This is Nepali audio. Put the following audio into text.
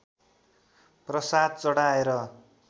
प्रसाद चढाएर